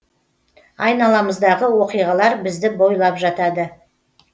айналамыздағы оқиғалар бізді байлап жатады